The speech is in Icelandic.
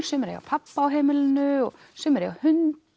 sumir eiga pabba á heimilinu og sumir eiga hund